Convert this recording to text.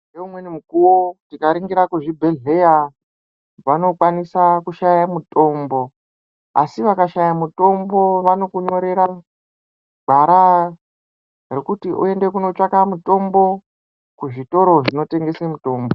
Ngoumweni mukuwo tikaringira kuzvibhedhlera vanokwanisa kushaye mutombo, asi vakashaya mutombo vanokunyorera gwara rokuti uende kunotsvaka mutombo kuzvitoro zvinotengese mutombo.